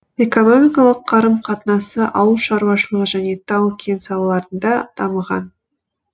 экономикалық қарым қатынасы ауыл шаруашылығы және тау кен салаларында дамыған